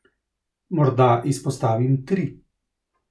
Morda izpostavim tri.